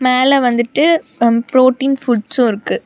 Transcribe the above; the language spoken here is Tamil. மேல வந்துட்டு புரோட்டின் ஃபுட்ஸு இருக்கு.